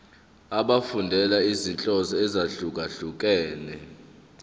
efundela izinhloso ezahlukehlukene